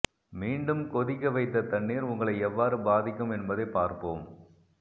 மீண்டும் கொதிக்க வைத்த தண்ணீர் உங்களை எவ்வாறு பாதிக்கும் என்பதை பார்ப்போம்